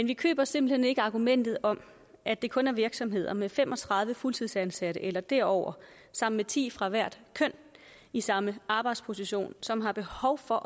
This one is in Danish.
vi køber simpelt hen ikke argumentet om at det kun er virksomheder med fem og tredive fuldtidsansatte eller derover samt med ti fra hvert køn i samme arbejdsposition som har behov for